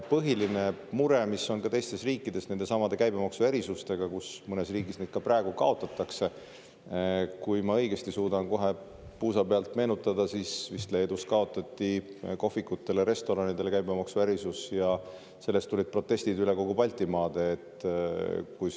Põhiline mure on ka teistes riikides nendesamade käibemaksuerisustega, mõnes riigis neid ka praegu kaotatakse – kui ma õigesti suudan kohe puusa pealt meenutada, siis vist Leedus kaotati kohvikute ja restoranide käibemaksuerisus, ja sellest tulid protestid üle Baltimaade.